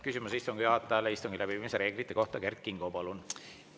Küsimus istungi juhatajale istungi läbiviimise reeglite kohta, Kert Kingo, palun!